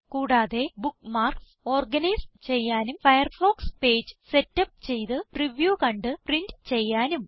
കൂടാതെ bookmarks organise ചെയ്യാനും Firefox page setup ചെയ്ത് പ്രിവ്യൂ കണ്ട് പ്രിന്റ് ചെയ്യാനും